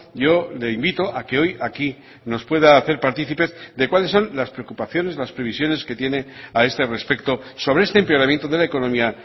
yo le invito a que hoy aquí nos pueda hacer partícipes de cuáles son las preocupaciones las previsiones que tiene a este respecto sobre este empeoramiento de la economía